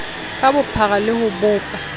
ka bophara le ho bopa